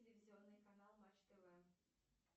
телевизионный канал матч тв